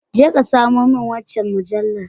Je ka samo min wancan mujallar.